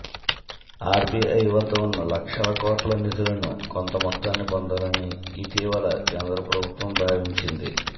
RBI వద్ద ఉన్న లక్షల కోట్ల నిధులను కొంతమొత్తాన్ని పొందాలని ఇటీవల కేంద్ర ప్రభుత్వం భావించింది